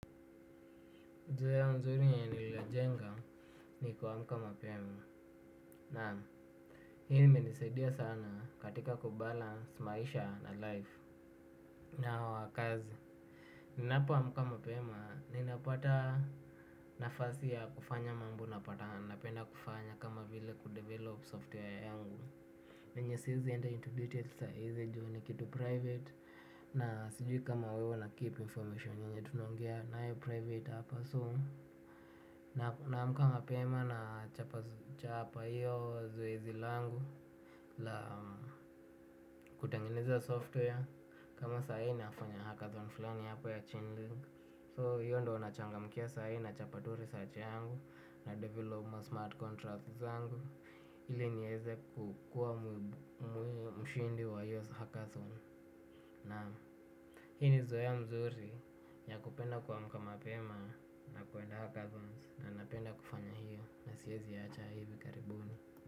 Nzoea nzuri ya niliwa jenga ni kuamuka mapema na hini menisaidia sana katika kubalans maisha na life na wakazi. Ninapa amuka mapema ninapata nafasi ya kufanya mambo napatan napenda kufanya kama vile kudevelop software yangu. Yenye sizi enda into details saizi juu ni kitu private na sijui kama wewe na keep information yunye tunongia na yo private hapa soon. Na mkama pema na chapa yo zoezi langu la kutangineza software kama saa hii nafanya hackathon filani hapa ya chainling So hiyo ndo onachanga mkia sayi na chapaturi saache yangu na developma smart contracts zangu. Ili nyeze kukua mshindi wa yo hackathons. Naam, hini zoea mzuri ya kupenda kuamka mapema na kuenda hackathons. Na napenda kufanya hiyo na siyezi ya hacha hivi karibuni.